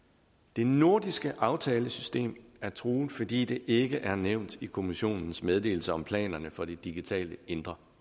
det nordiske aftalesystem er truet fordi det ikke er nævnt i kommissionens meddelelse om planerne for det digitale indre